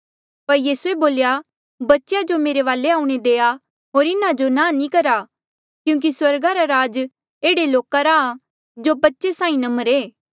पर यीसूए बोल्या बच्चेया जो मेरे वाले आऊणें देआ होर इन्हा जो नांह नी करा क्यूंकि स्वर्गा रा राज ऐहड़े लोका रा आ जो बच्चे साहीं नम्र ऐें